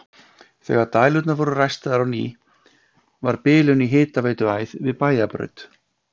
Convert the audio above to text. Þegar dælur voru ræstar á ný varð bilun í hitaveituæð við Bæjarbraut.